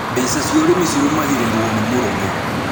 Mbeca cia ũrĩmi cirũgamagĩrĩrũo nĩ mũrũme